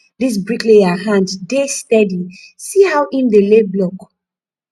dis bricklayer hand dey steady see how im dey lay block